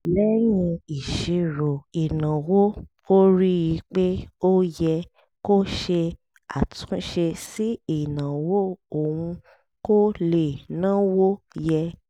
lẹ́yìn ìṣírò ìnáwó ó rí i pé ó yẹ kó ṣe àtúnṣe sí ìnáwó òun kó lè náwó yẹ